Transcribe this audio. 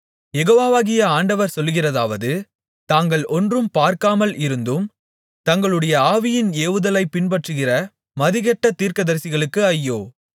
யெகோவாகிய ஆண்டவர் சொல்லுகிறதாவது தாங்கள் ஒன்றும் பார்க்காமல் இருந்தும் தங்களுடைய ஆவியின் ஏவுதலைப் பின்பற்றுகிற மதிகெட்ட தீர்க்கதரிசிகளுக்கு ஐயோ